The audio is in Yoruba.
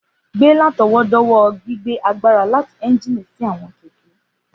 Gbé látọwọ́dọ́wọ́ gbigbe agbara lati ẹ́njìnì si áwọn kẹkẹ.